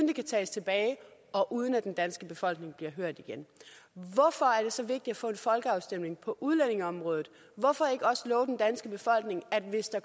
de kan tages tilbage og uden at den danske befolkning bliver hørt igen hvorfor er det så vigtigt at få en folkeafstemning på udlændingeområdet hvorfor ikke også love den danske befolkning at hvis der